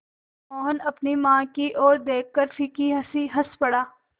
मोहन अपनी माँ की ओर देखकर फीकी हँसी हँस पड़ा